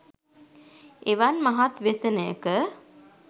එවන් මහත් ව්‍යසනයක